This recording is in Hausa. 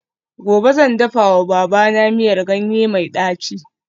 Gobe ​​zan dafawa babana miyar ganye mai daci